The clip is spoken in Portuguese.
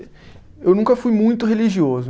Eu nunca fui muito religioso.